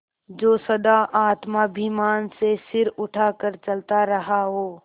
जो सदा आत्माभिमान से सिर उठा कर चलता रहा हो